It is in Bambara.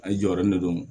A ye jɔyɔrɔ min dɔn